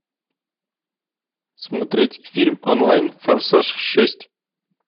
смотреть фильм онлайн форсаж шесть